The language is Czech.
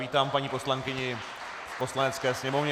Vítám paní poslankyni v Poslanecké sněmovně.